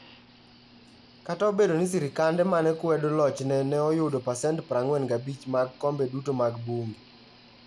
Kata obedo ni sirkande ma ne kwedo lochne ne oyudo pasent 45 mag kombe duto mag bunge.